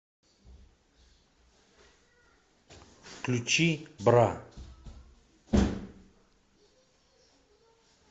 включи бра